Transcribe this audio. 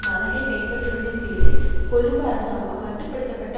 மதகை கைப்பற்றுவதன் பேரில் கொழும்பு அரசாங்கம் மட்டு படுத்த பட்ட